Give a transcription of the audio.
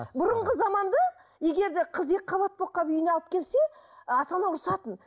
бұрынғы заманды егер де қыз екі қабат болып қалып үйіне алып келсе ы ата ана ұрысатын